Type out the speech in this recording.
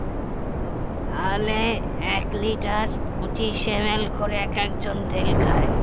তাহলে এক liter পঁচিশ ML করে এক এক জন তেল খায়